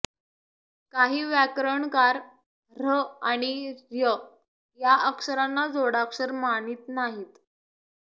काही व्याकरणकार ऱ्ह आणि ऱ्य या अक्षरांना जोडाक्षर मानीत नाहीत